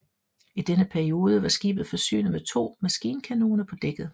I denne periode var skibet forsynet med to maskinkanoner på dækket